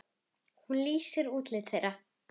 Hún lýsti útliti þeirra.